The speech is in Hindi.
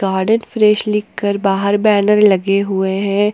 गार्डन फ्रेश लिखकर बाहर बैनर लगे हुए हैं।